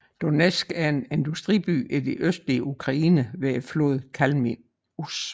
Donétsk er en industriby i det østlige Ukraine ved floden Kalmius